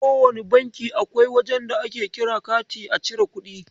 A kowane banki akwai wajen da ake kira kati a chiri kuɗi.